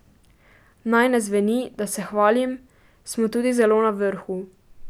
Naj ne zveni, da se hvalim, smo tudi zelo na vrhu.